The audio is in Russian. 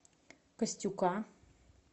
костюка